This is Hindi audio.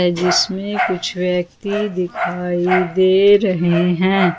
जिसमें कुछ व्यक्ति दिखाई दे रहे हैं।